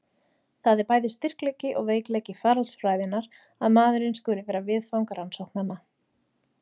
Það er bæði styrkleiki og veikleiki faraldsfræðinnar að maðurinn skuli vera viðfang rannsóknanna.